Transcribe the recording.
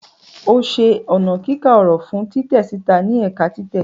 O ṣe ọna kika ọrọ fun titẹ sita ni ẹka titẹ.